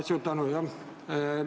Suur tänu!